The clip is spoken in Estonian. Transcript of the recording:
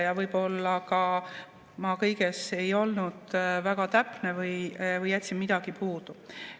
Ja võib-olla ma kõiges ei olnud väga täpne või jätsin midagi puudu.